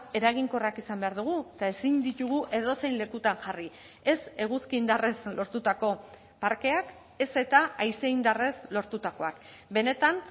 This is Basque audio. eraginkorrak izan behar dugu eta ezin ditugu edozein lekutan jarri ez eguzki indarrez lortutako parkeak ez eta haize indarrez lortutakoak benetan